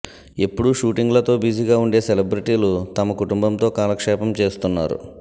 ఎప్పుడూ షూటింగ్లతో బిజీగా ఉండే సెలబ్రిటీలు తమ కుంటుంబంతో కాలక్షేపం చేస్తున్నారు